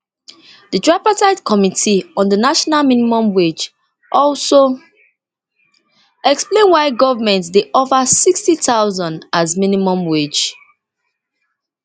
di tripartite committee on di national minimum wage also explain why why goment dey offer nsixty thousand as minimum wage